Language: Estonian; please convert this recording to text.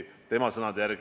Tarmo Kruusimäe, palun!